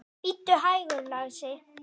Bíddu hægur, lagsi.